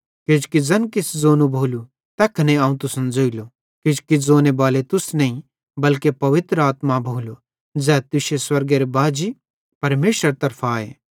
किजोकि ज़ोने बाले तुस नईं बल्के पवित्र आत्मा भोलो ज़ै तुश्शे स्वर्गेरे बाजी परमेशरेरे तरफां आए